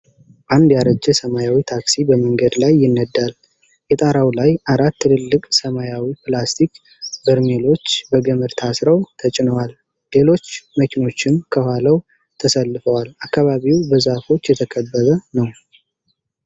አንድ ያረጀ ሰማያዊ ታክሲ በመንገድ ላይ ይነዳል። የጣራው ላይ አራት ትልልቅ ሰማያዊ ፕላስቲክ በርሜሎች በገመድ ታስረው ተጭነዋል። ሌሎች መኪኖችም ከኋላው ተሰልፈዋል። አካባቢው በዛፎች የተከበበ ነው።